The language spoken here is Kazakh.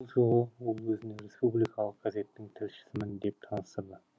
бұл жолы ол өзін республикалық газеттің тілшісімін деп таныстырды